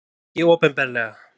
Nei, ekki opinberlega.